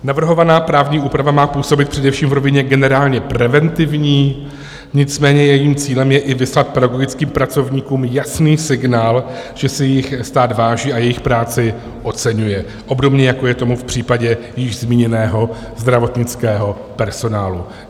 Navrhovaná právní úprava má působit především v rovině generálně preventivní, nicméně jejím cílem je i vyslat pedagogickým pracovníkům jasný signál, že si jich stát váží a jejich práci oceňuje, obdobně jako je tomu v případě již zmíněného zdravotnického personálu.